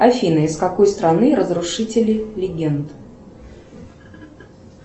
афина из какой страны разрушители легенд